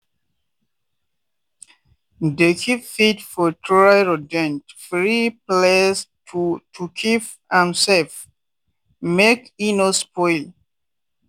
dey keep feed for dry rodent-free place to to keep am safe make e no spoil.